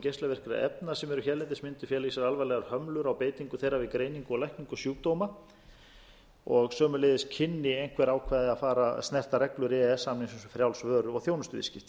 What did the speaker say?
geislavirkra efna sem eru hérlendis mundu fela í sér alvarlegar hömlur á beitingu þeirra við greiningu og lækningu sjúkdóma og sömuleiðis kynnu einhver ákvæði að snerta reglur e e s samningsins um frjáls vöru og þjónustuviðskipti